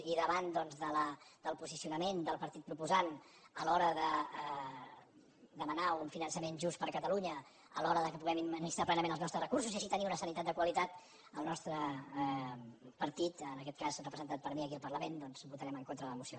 i davant doncs del posicionament del partit proposant a l’hora de demanar un finançament just per a catalunya a l’hora que puguem administrar plenament els nostres recursos i així tenir una sanitat de qualitat el nostre par·tit en aquest cas representat per mi aquí al parlament doncs votarem en contra de la moció